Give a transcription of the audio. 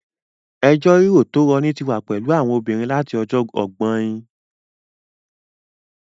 Ẹjọ́ rírò tó rọni tí wà pẹ̀lú àwọn obìnrin láti ọjọ́ ọgbọ́in